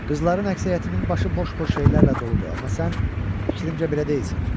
Qızların əksəriyyətinin başı boş-boş şeylərlə doludur, amma sən, fikrimcə belə deyilsən.